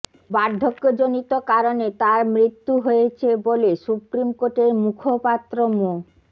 বার্ধক্যজনিত কারণে তার মৃত্যু হয়েছে বলে সুপ্রিম কোর্টের মুখপাত্র মো